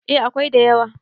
eh akwai da yawa